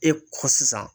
E kɔ sisan